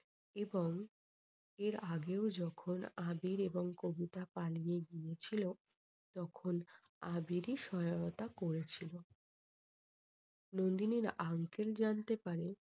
এবং এর আগেও যখন আবির এবং কবিতা পালিয়ে গেছিলো তখন আবিরই সহায়তা করেছিল। নন্দিনীর জানতে পারে